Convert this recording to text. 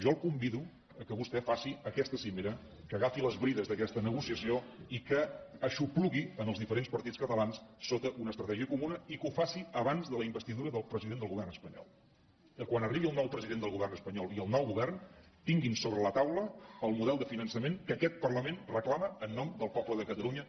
jo el convido que vostè faci aquesta cimera que agafi les brides d’aquesta negociació i que aixoplugui els diferents partits catalans sota una estratègia comuna i que ho faci abans de la investidura del president del govern espanyol que quan arribin el nou president del govern espanyol i el nou govern tinguin sobre la taula el model de finançament que aquest parlament reclama en nom del poble de catalunya